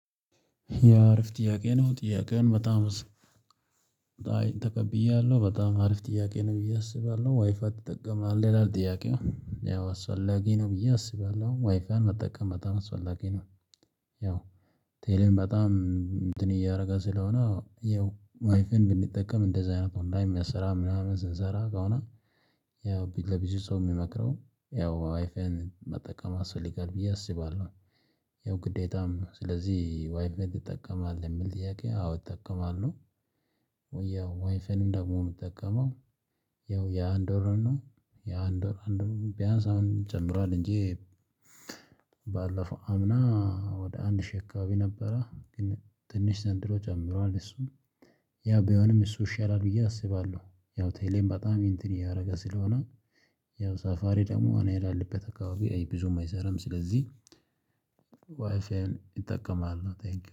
የአረፍ ጥያቄ ነው ጥያቄውን በጣም አይ ተቀብያለሁ በጣም አሪፍ ጥያቄ ነው ብዬ አስባለሁ። ዋይፋይ ትጠቀማለህ ይላል? ጥያቄው ያው አስፈላጊ ነው ብዬ አስባለሁ ዋይፋይ መጠቀም በጣም አስፈላጊ ነው። ያው ቴሌም በጣም እንትን እያደረገ ስለሆነ ያው ዋይፌን ብንጠቀም እንደዚህ አይነት ኦንላይን የሚያሰራ ምናምን ስንሰራ ከሆነ። ያው ለብዙ ሰው የሚመክረው ያው ዋይፋይን መጠቀም ያስፈልጋል ብዬ አስባለሁ። ያው ግዴታም ስለዚህ ዋይፋዬን ትጠቀማለህ የምል ጥያቄ አዎ እጠቀማለሁ። ያው ዋይፋይንም ደግሞ የምጠቀመው ያው ያ አንድ ወር ነው ያ አንድ ወር አንድ ቢያንስ አሁን ይጨምራል እንጂ። ባለፈው አምና ወደ አንድ ሺ አካባቢ ነበረ። ግን ትንሽ ዘንድሮ ጨምሯል እሱም ያ ቢሆንም እሱ ይሻላል ብዬ አስባለሁ። ያው ቴሌም በጣም ኢንትን እያደረገ ስለሆነ። ያው ሳፋሪ ደግሞ እኔ ላለሁበት አካባቢ አይ ብዙም አይሰራም ስለዚህ። ዋይፋይን እጠቀማለው ቴንኪው